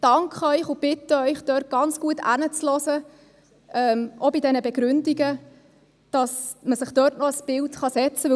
Ich bitte Sie, auch bei diesen Begründungen genau hinzuhören, damit man sich dort noch ein Bild machen kann, und danke Ihnen dafür.